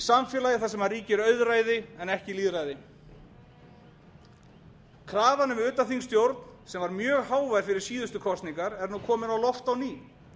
samfélagi þar sem ríkir auðræði en ekki lýðræði krafan um utanþingsstjórn sem var mjög hávær fyrir síðustu kosningar er nú komin á loft á ný